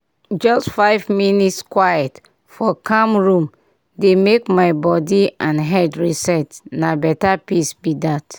just five minute quiet for calm room dey make my body and head reset—na better peace be that.